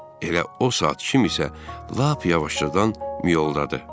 Elə o saat kim isə lap yavaşcadan miyoldadı.